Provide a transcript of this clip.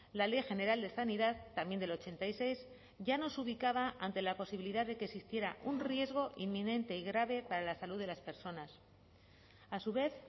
la ley general de sanidad también del ochenta y seis ya nos ubicaba ante la posibilidad de que existiera un riesgo inminente y grave para la salud de las personas a su vez